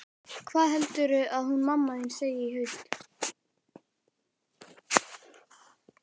Hvað heldurðu að hún mamma þín segi í haust?